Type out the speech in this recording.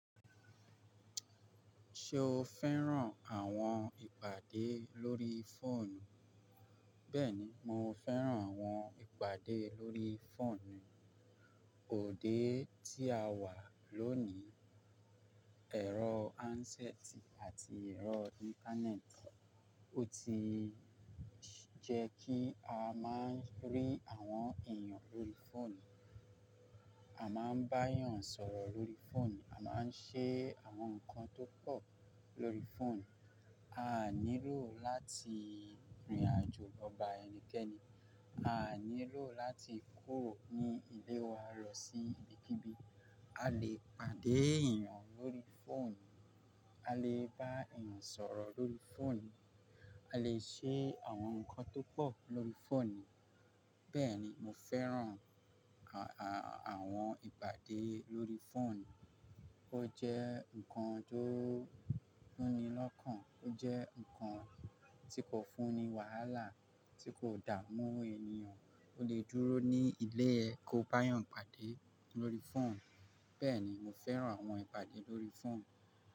Ṣé o fẹ́ràn àwọn ìpàdé lórí fóònù? Bẹ́ẹ̀ni, mo fẹ́ràn àwọn ìpàdé lórí fóònù. Òde tí a wà lónìí, ẹ̀rọ áńsẹ́ẹ̀tì àti ẹ̀rọ íńtánẹ́ẹ̀tì, ó ti jẹ́ kí a máa ń rí àwọn èèyàn lórí fóònù, a máa ń bá èèyàn sọ̀rọ̀ lórí fóònù, a máa ń ṣe àwọn nǹkan tó pọ̀ lórí fóònù. A nílò láti rìnrìnàjò lọ bá ẹnikẹ́ni, a nílò láti kúrò ní ilé wa lọ sí ibikíbi. A lè pàdé èèyàn lórí fóònù, a lè bá èèyàn sọ̀rọ̀ lórí fóònù, a lè ṣe àwọn nǹkan tó pọ̀ lórí fóònù. Bẹ́ẹ̀ni, mo fẹ́ràn àwọn ìpàdé lórí fóònù. Ó jẹ́ nǹkan tó nílọ́kàn, ó jẹ́ nǹkan tí kò fúnni wàhálà, tí kò dààmú eniyàn. O lè dúró ní ilé ẹ kí o bá èèyàn pàdé lórí fóònù. Bẹ́ẹ̀ni, mo fẹ́ràn àwọn ìpàdé lórí fóònù.